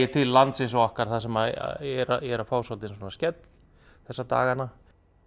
til lands eins og okkar sem er að fá á sig skell þessa dagana